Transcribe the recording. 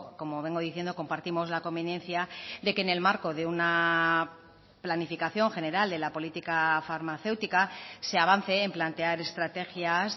como vengo diciendo compartimos la conveniencia de que en el marco de una planificación general de la política farmacéutica se avance en plantear estrategias